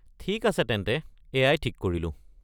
ঠিক আছে তেন্তে, এয়াই ঠিক কৰিলোঁ।